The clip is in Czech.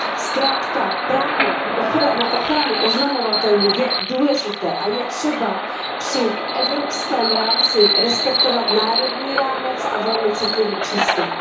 Zkrátka, právo na ochranu oznamovatelů je důležité a je třeba při evropském rámci respektovat národní rámec a velmi citlivý přístup.